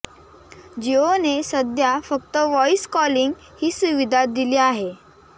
जिओने सध्या फक्त वॉईस कॉलिंग ही सुविधा दिली आहे